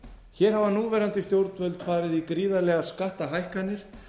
hér hafa núverandi stjórnvöld farið í gríðarlegar skattahækkanir